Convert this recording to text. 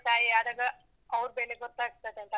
ತಂದೆ ತಾಯಾದಾಗ, ಅವ್ರ ಬೆಲೆ ಗೊತ್ತಾಗ್ತದೆ.